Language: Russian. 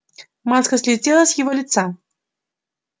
маска слетела с его лица